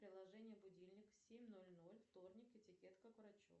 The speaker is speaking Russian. приложение будильник семь ноль ноль вторник этикетка к врачу